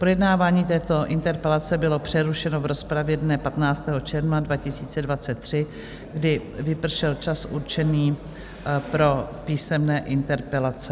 Projednávání této interpelace bylo přerušeno v rozpravě dne 15. června 2023, kdy vypršel čas určený pro písemné interpelace.